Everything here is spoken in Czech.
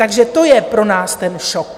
Takže to je pro nás ten šok.